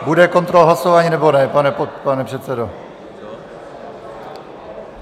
Bude kontrola hlasování, nebo ne, pane předsedo?